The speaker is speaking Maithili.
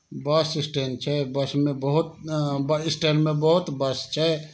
बस स्टैंड छै। बस में बहुत में बहुत बस छै।